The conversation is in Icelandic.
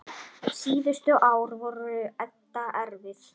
Síðustu ár voru Edda erfið.